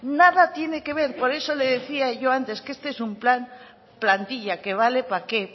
nada tiene que ver por eso le decía yo antes que este es un plan plantilla que vale para qué